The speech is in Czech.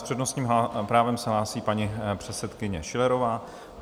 S přednostním právem se hlásí paní předsedkyně Schillerová.